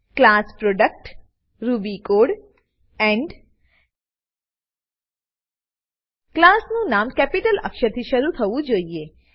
class product class product Ruby code Ruby code end end ક્લાસનું નામ capital અક્ષરથી શરુ થવું જોઈએ